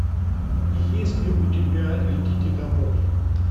есть ли у тебя летите домой